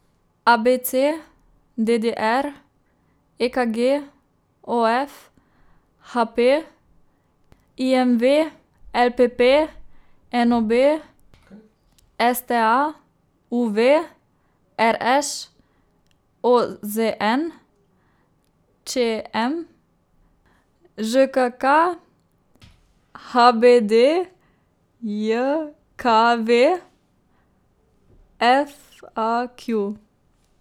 A B C; D D R; E K G; O F; H P; I M V; L P P; N O B; S T A; U V; R Š; O Z N; Č M; Ž K K; H B D J K V; F A Q.